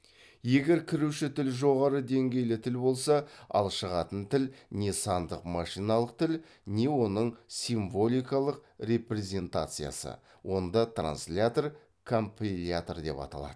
егер кіруші тіл жоғары деңгейлі тіл болса ал шығатын тіл не сандық машиналық тіл не оның символикалық репрезентациясы онда транслятор компилятор деп аталады